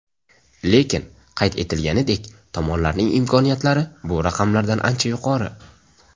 Lekin, qayd etilganidek, tomonlarning imkoniyatlari bu raqamlardan ancha yuqori.